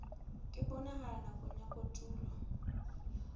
e bonahalang nakong ya kotulo